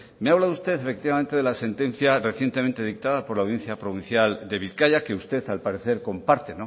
me habla usted efectivamente de la sentencia recientemente dictada por la audiencia provincial de bizkaia que usted al parecer comparte